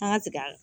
An ka tigɛ